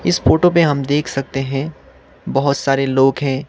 इस फोटो पे हम देख सकते हैं बहुत सारे लोग हैं।